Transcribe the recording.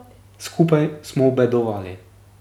Skupaj smo obedovali.